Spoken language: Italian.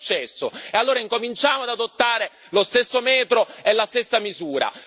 Non è successo, e allora incominciamo ad adottare lo stesso metro e la stessa misura.